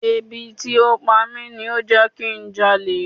Ebi tí ó ń pa mi ló jẹ́ kí n já olè.